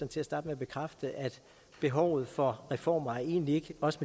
til at starte med at bekræfte at behovet for reformer egentlig ikke også